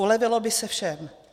Ulevilo by se všem.